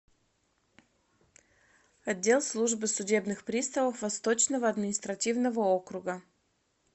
отдел службы судебных приставов восточного административного округа